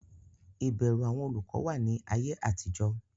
ìbẹrù àwọn olùkọ wà ní ayé àtijọ́.